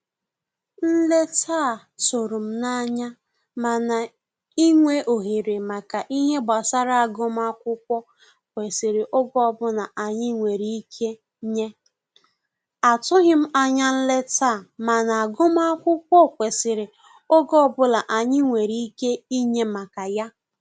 Nleta a tụrụ m n'anya, mana inwe ohere maka ihe gbasara agụmakwụkwọ kwesịrị oge ọbụla anyi nwere ike nyeAtụghim anya nleta a, mana agụmakwukwọ kwesiri oge ọbụla anyị nwere ike inye maka ya